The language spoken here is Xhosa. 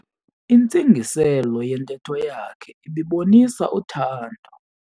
Intsingiselo yentetho yakhe ibibonisa uthando.